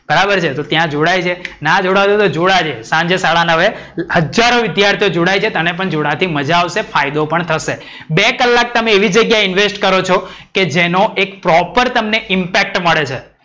બરાબર છે. તો ત્યાં જોડાય છે ના જોડતો હોય તો જોડાજે. સાંજે સાડા નવે હજારો વિધ્યાર્થીઓ જોડાઈ છે. તને પણ મજા આવશે ફાયદો પણ થશે. બે કલાક તમે એવી જગ્યા એ invest કરો છો કે જેનો એક પ્રોપર તમને impact પડે છે.